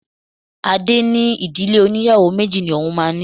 Adé ní Ìdílé óníyàwó méjì ni òun máa ní.